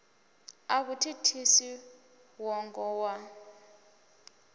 a vhu thithisi ṅwongo wa